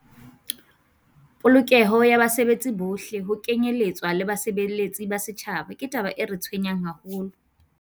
"Polokeho ya basebetsi bohle, ho kenyeletswa le basebeletsi ba setjhaba, ke taba e re tshwenyang haholo."